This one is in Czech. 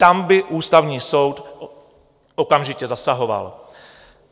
Tam by Ústavní soud okamžitě zasahoval.